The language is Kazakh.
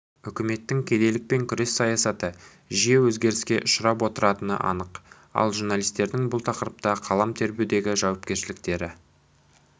үкіметтің кедейлікпен күрес саясаты жиі өзгеріске ұшырап отыратыны анық ал журналистердің бұл тақырыпта қалам тербеудегі жауапкершіліктері